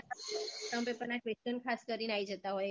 ત્રણ પેપર ના question ખાસ કરીને આઈ જતાં હોય exam માં